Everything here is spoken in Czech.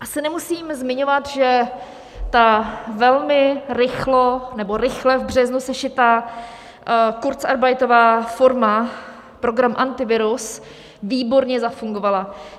Asi nemusím zmiňovat, že ta velmi rychle v březnu sešitá kurzarbeitová forma, program Antivirus, výborně zafungovala.